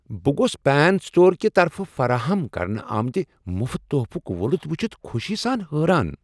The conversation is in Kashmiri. بہٕ گوس پین سٹور کہ طرفہٕ فراہم کرنہٕ آمٕتہِ مفت تحفک ووٚلُت وچھِتھ خوشی سان حٲران۔